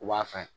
U b'a fɛn